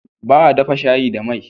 Baa dafa shayi da mai